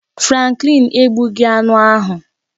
Franklin egbughị aṅụ ahụ